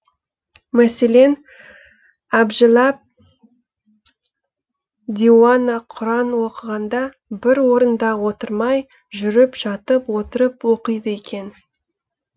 мәселен әбжәлаб диуана құран оқығанда бір орында отырмай жүріп жатып отырып оқиды екен